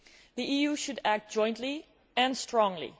The EU should act jointly and strongly.